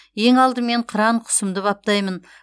ең алдымен қыран құсымды баптаймын